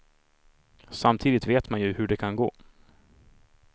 Samtidigt vet man ju hur det kan gå.